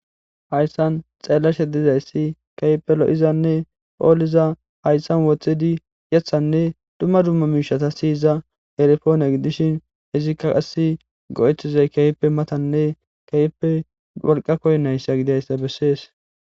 hayssan xeellashe dizayssi keyppe lo7izanne phooliza hayssan woththidi yethanne dumma dumma miishata siyiza erefoone gidishin izikka qassi go7eththizay kayippe matanne keyippe wolqa koynayssa gidayssa bessees